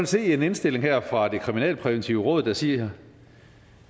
se en indstilling her fra det kriminalpræventive råd der siger